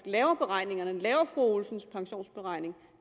laver beregningerne og laver fru olsens pensionsberegning